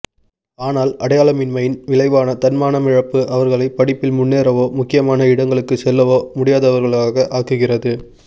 ஆனால் அடையாளமின்மையின் விளைவான தன்மானமிழப்பு அவர்களைப் படிப்பில் முன்னேறவோ முக்கியமான இடங்களுக்குச் செல்லவோ முடியாதவர்களாக ஆக்குகிறது